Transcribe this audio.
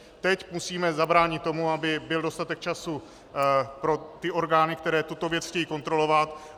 Teď musíme zabránit tomu, aby byl dostatek času pro ty orgány, které tuto věc chtějí kontrolovat.